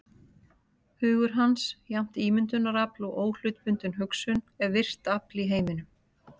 Hugur hans, jafnt ímyndunarafl og óhlutbundin hugsun, er virkt afl í heiminum.